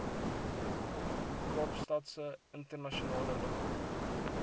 kaapstadse internasionale lughawe